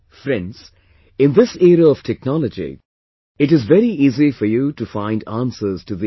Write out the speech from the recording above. Friends, in this era of technology, it is very easy for you to find answers to these